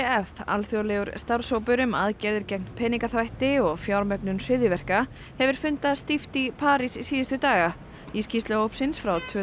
alþjóðlegur starfshópur um aðgerðir gegn peningaþvætti og fjármögnun hryðjuverka hefur fundað stíft í París síðustu daga í skýrslu hópsins frá tvö